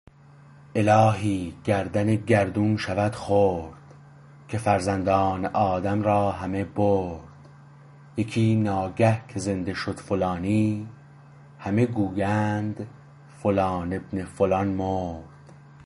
الهی گردن گردون شود خرد که فرزندان آدم را همه برد یکی ناگه که زنده شد فلانی همه گویند فلان ابن فلان مرد